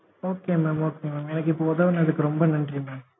okay mam okay mam எனக்கு இப்போ உதவுனதுக்கு ரொம்ப நன்றி mam